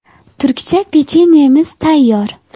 Turkcha pechenyemiz tayyor.